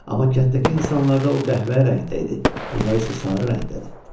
Amma kənddəki insanlarda o qəhvəyi rəngdə idi, bunlar isə sarı rəngdədir.